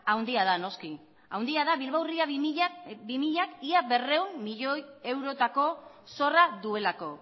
handia da noski handia da bilbao ría bi milak ia berrehun milioi eurotako zorra duelako